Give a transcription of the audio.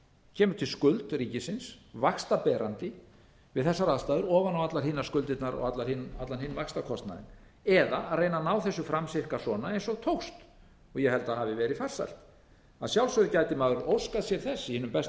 kemur til skuld ríkisins vaxtaberandi við þessar aðstæður ofan á allar hinar skuldirnar og allan hinn vaxtakostnaðinn eða reyna að ná þessu fram sirka svona eins og tókst og ég held að hafi verið farsælt að sjálfsögðu gæti maður óskað sér þess í hinum besta